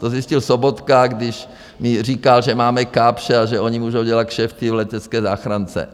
To zjistil Sobotka, když mi říkal, že máme Kapsche a že oni můžou dělat kšefty v letecké záchrance.